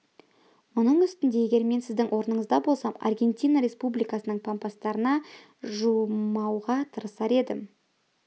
мұның үстіне егер мен сіздің орныңызда болсам аргентина республикасының пампастарына жуымауға тырысар едім